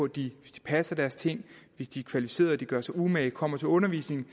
de hvis de passer deres ting hvis de er kvalificerede og gør sig umage kommer til undervisningen